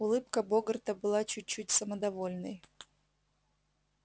улыбка богарта была чуть-чуть самодовольной